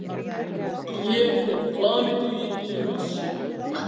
Ég er fullfær um að fást einsamall við illþýði!